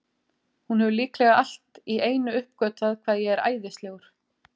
Hún hefur líklega allt í einu uppgötvað hvað ég er æðislegur.